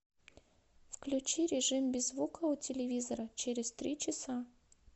включи режим без звука у телевизора через три часа